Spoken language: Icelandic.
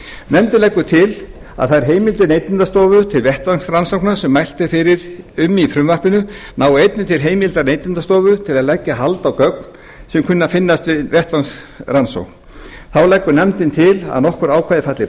nefndin leggur til að þær heimildir neytendastofu til vettvangsrannsókna sem mælt er fyrir um í frumvarpinu nái einnig til heimildar neytendastofu til að leggja hald á gögn sem kunna að finnast við vettvangsrannsókn þá leggur nefndin til að nokkur ákvæði falli